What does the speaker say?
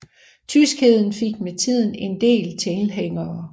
Tyskheden fik med tiden en del tilhængere